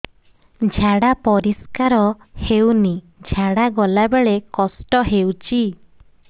ଝାଡା ପରିସ୍କାର ହେଉନି ଝାଡ଼ା ଗଲା ବେଳେ କଷ୍ଟ ହେଉଚି